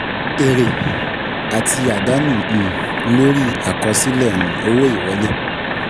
Èrè àti àdánù um lórí àkọsílẹ̀ um owó ìwọlé.